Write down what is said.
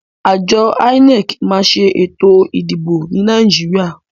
Àjo INEC ma n sé ètò ìdìbò ni Naijiria